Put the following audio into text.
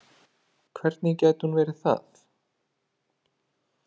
Hvernig gæti hún verið það?